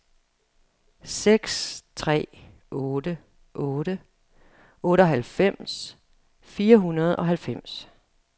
seks tre otte otte otteoghalvfems fire hundrede og halvfems